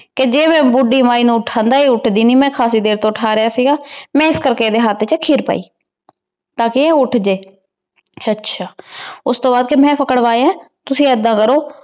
ਕੇ ਜੇ ਮੈਂ ਬੁਧਿ ਮੈ ਨੂ ਉਠੰਦਾ ਆਯ ਇਤ੍ਹਦੀ ਨਾਈ ਮੈਂ ਕਾਫੀ ਦੇਰ ਤੋਂ ਉਠਾ ਰਯ ਸੀਗਾ ਏਸ ਕਰ ਕੇ ਏਡੀ ਹੇਠ ਚ ਖੀਰ ਪੈ ਟਾਕੀ ਊ ਉਠ ਜੇ ਆਚਾ ਓਸ ਤੋਂ ਕਰ ਕੇ ਮੈਂ ਪਾਕ੍ਰ੍ਵਾਯਾ ਤੁਸੀਂ ਏਦਾਂ ਕਰੋ